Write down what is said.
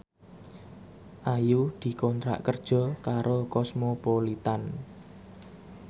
Ayu dikontrak kerja karo Cosmopolitan